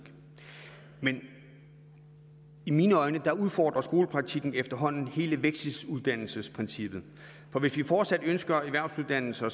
men i mine øjne udfordrer skolepraktikken efterhånden hele vekseluddannelsesprincippet for hvis vi fortsat ønsker erhvervsuddannelser